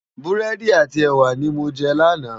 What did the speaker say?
Búrèdi áti èwá ni mó jè làná